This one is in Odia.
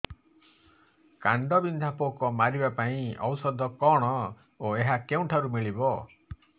କାଣ୍ଡବିନ୍ଧା ପୋକ ମାରିବା ପାଇଁ ଔଷଧ କଣ ଓ ଏହା କେଉଁଠାରୁ ମିଳିବ